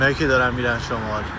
Onlar ki, gedirlər şimal.